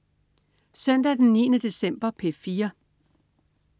Søndag den 9. december - P4: